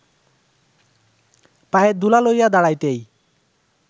পায়ের ধূলা লইয়া দাঁড়াইতেই